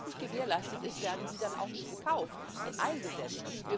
Und solange das nicht gewährleistet ist, werden die dann auch nicht gekauft und eingesetzt.